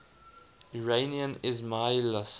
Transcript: iranian ismailis